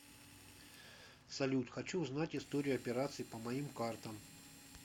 салют хочу узнать историю операций по моим картам